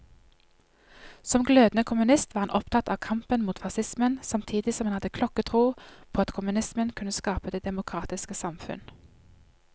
Som glødende kommunist var han opptatt av kampen mot facismen, samtidig som han hadde klokketro på at kommunismen kunne skape det demokratiske samfunn.